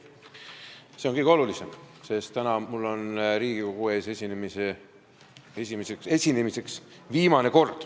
See on kõige olulisem, sest täna on mul viimane kord Riigikogu ees esineda.